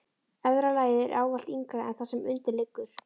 Efra lagið er ávallt yngra en það sem undir liggur.